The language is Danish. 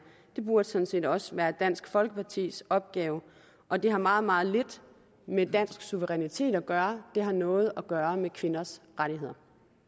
burde sådan set også være dansk folkepartis opgave og det har meget meget lidt med dansk suverænitet at gøre det har noget at gøre med kvinders rettigheder